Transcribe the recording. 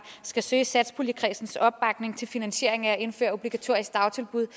skal søge satspuljekredsens opbakning til en finansiering af at indføre obligatoriske dagtilbud